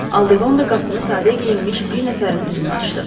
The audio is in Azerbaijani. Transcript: Aldeqonda qapını sadə geyinmiş bir nəfərin üzünə açdı.